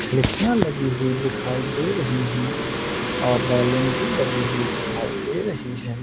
खिड़किया लगी हुई दिखाई दे रही है और रेलिंग भी लगी हुई दिखाई दे रही है।